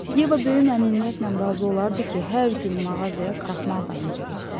Yeva böyük məmnuniyyətlə razı olardı ki, hər gün mağazaya kraxmal dalınca getsin.